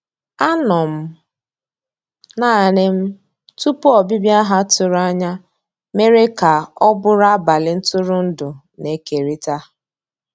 Ànọ́ m naanì m tupu ọ́bị̀bị̀a ha tụ̀rù ànyá mèrè kà ọ́ bụ́rụ́ àbálị́ ntụ̀rụ̀ndụ́ na-èkérị̀ta.